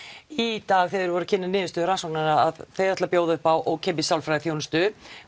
í dag þegar verið var að kynna niðurstöður rannsóknarinnar að þau ætla að bjóða upp á ókeypis sálfræðiþjónustu